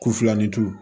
Kufilanintu